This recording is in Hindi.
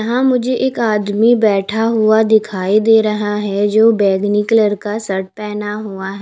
यहां मुझे एक आदमी बैठा हुआ दिखाई दे रहा है जो बैगनी कलर का शर्ट पहना हुआ है।